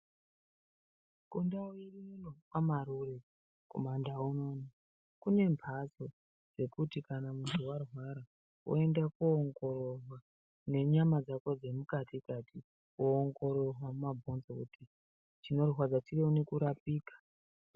Kundau ine uno kwaMarure kumaNdau unouno, kune mbatso dzekuti kana muntu warwara woende koongororwa nenyama dzako dzemukati-kati woende koongorwa nenyama dzako dzemukati-kati woongororwa mumabhonzo kuti chinorwadza chione kurapika.